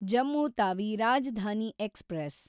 Jammu Tawi Rajdhani express